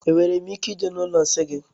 Enwere m ike ije na ụlọ nsị gị?